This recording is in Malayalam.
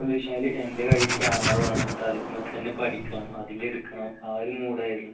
വെച്ചാൽ എൻറെ കയ്യിൽ camera വേണമെന്നുണ്ട് എന്നിട്ട് അതിൽ മേൽ തന്നെ പഠിക്കണം അതിൽ എടുക്കണം ആ ഒരു മൂഡ് ആയിരുന്നു